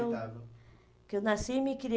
eu que eu nasci, me